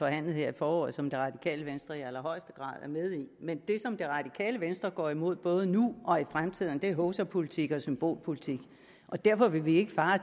her i foråret som det radikale venstre i allerhøjeste grad er med i men det som det radikale venstre går imod både nu og i fremtiden er hovsapolitik og symbolpolitik derfor vil vi ikke fare